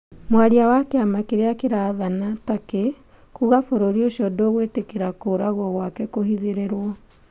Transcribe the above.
Mwaria wa kĩama kĩrĩa kĩrathana Turkey kuga bũrũri ũcio ndũgwĩtĩkĩra kũragwo gwake kũhithĩrĩrwo.